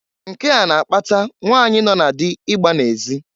Nke a na-akpata nwanyị nọ na dị ịgba n'ezị.